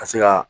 Ka se ka